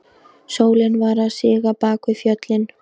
Sólin var að síga bak við fjöllin.